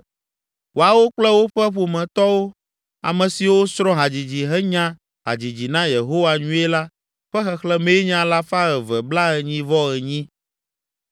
Woawo kple woƒe ƒometɔwo, ame siwo srɔ̃ hadzidzi henya hadzidzi na Yehowa nyuie la ƒe xexlẽmee nye alafa eve blaenyi-vɔ-enyi.